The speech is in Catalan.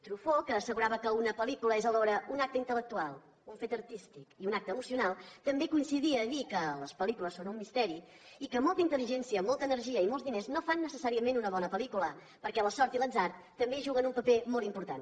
truffaut que assegurava que una pel·lícula és alhora un acte intel·lectual un fet artístic i un acte emocional també coincidia a dir que les pel·lícules són un misteri i que molta intel·ligència molta energia i molts diners no fan necessàriament una bona pel·lícula perquè la sort i l’atzar també hi juguen un paper molt important